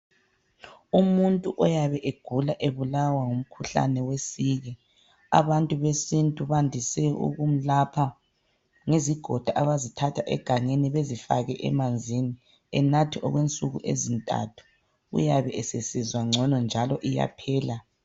Umuntu oyabe egula ebulawa ngumkhuhlane wesiki abantu besintu bandise ukumlapha ngezigodo abazithatha egangeni bezifake emanzini enathe okwensuku ezintathu uyabe esesizwa ngcono njalo iyaphela.